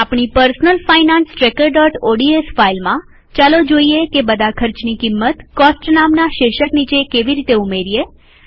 આપણી personal finance tracker ODS ફાઈલમાંચાલો જોઈએ કે બધા ખર્ચની કિંમત કોસ્ટ નામના શીર્ષક નીચે કેવી રીતે ઉમેરીએ